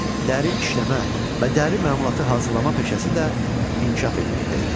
Dəri işləmə və dəri məmulatı hazırlama peşəsi də inkişaf etməkdə idi.